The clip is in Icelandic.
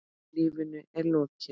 Lífinu er lokið.